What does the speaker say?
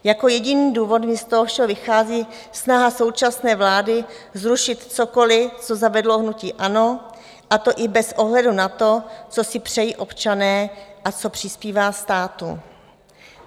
Jako jediný důvod mi z toho všeho vychází snaha současné vlády zrušit cokoliv, co zavedlo hnutí ANO, a to i bez ohledu na to, co si přejí občané a co přispívá státu.